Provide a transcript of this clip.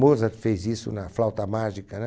Mozart fez isso na flauta mágica, né?